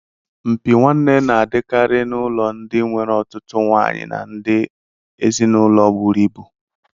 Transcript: Mpi nwanne na-adịkarị n'ụlọ ndị nwere otutu nwaanyị na ndị ezinụlọ buru ibu.